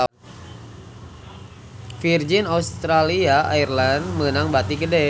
Virgin Australia Airlines meunang bati gede